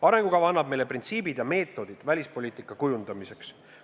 Arengukava annab meile printsiibid ja meetodid välispoliitika kujundamiseks.